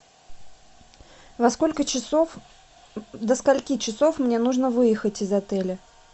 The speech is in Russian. во сколько часов до скольки часов мне нужно выехать из отеля